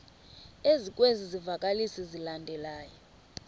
ezikwezi zivakalisi zilandelayo